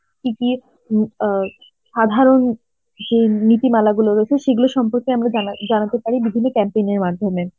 কি দিয়ে উম অ্যাঁ সাধারণ যে নীতিমালা গুলো রয়েছে সেগুলো সম্পর্কে আমরা জানা~ জানাতে পারি বিভিন্ন complain এর মাধ্যমে.